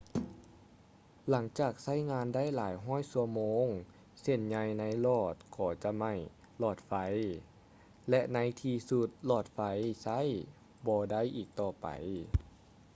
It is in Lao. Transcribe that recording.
ຫຼັງຈາກໃຊ້ງານໄດ້ຫຼາຍຮ້ອຍຊົ່ວໂມງເສັ້ນໃຍໃນຫຼອດກໍຈະໄໝ້ຫລອດໄຟ ແລະ ໃນທີ່ສຸດຫລອດໄຟໃຊ້ບໍ່ໄດ້ອີກຕໍ່ໄປ